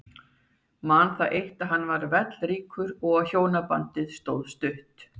Man það eitt að hann var vellríkur og að hjónabandið stóð stutt.